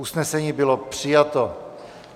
Usnesení bylo přijato.